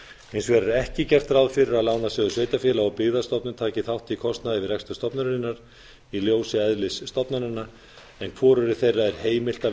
hins vegar er ekki gert ráð fyrir að lánasjóður sveitarfélaga og byggðastofnun taki þátt í kostnaði við rekstur stofnunarinnar í ljósi eðlis stofnananna en hvorugri þeirra er heimilt að